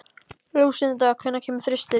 Lúsinda, hvenær kemur þristurinn?